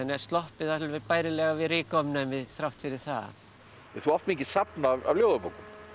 sloppið alveg bærilega við þrátt fyrir það þú átt mikið safn af ljóðabókum